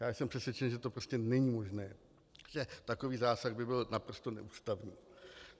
Já jsem přesvědčen, že to prostě není možné, že takový zásah by byl naprosto neústavní.